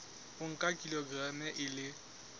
o nka kilograma e le